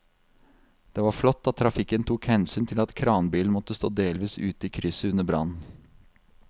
Det var flott at trafikken tok hensyn til at kranbilen måtte stå delvis ute i krysset under brannen.